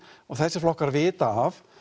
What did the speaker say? og þessir flokkar vita af